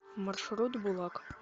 маршрут булак